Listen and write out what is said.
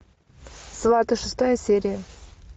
сваты шестая серия